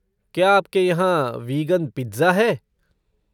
क्या आपके यहाँ वीगन पिज्ज़ा है?